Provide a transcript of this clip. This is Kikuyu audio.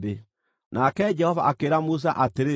Nake Jehova akĩĩra Musa atĩrĩ,